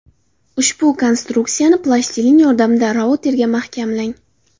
Ushbu konstruksiyani plastilin yordamida routerga mahkamlang.